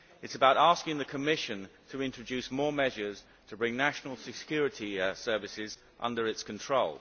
It is about asking the Commission to introduce more measures to bring national security services under its control.